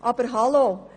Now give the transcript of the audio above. Aber – Hallo!